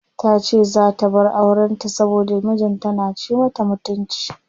Tace zaa ta bar auren ta saboda mijin ta na ci mata mutunci.